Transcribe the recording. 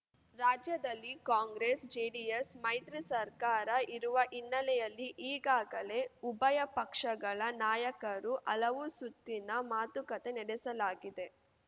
ರಾಜ್ಯದಲ್ಲಿ ಕಾಂಗ್ರೆಸ್ ಜೆಡಿಎಸ್ ಮೈತ್ರಿ ಸರ್ಕಾರ ಇರುವ ಹಿನ್ನೆಲೆಯಲ್ಲಿ ಈಗಾಗಲೇ ಉಭಯ ಪಕ್ಷಗಳ ನಾಯಕರು ಹಲವು ಸುತ್ತಿನ ಮಾತುಕತೆ ನಡೆಸಲಾಗಿದೆ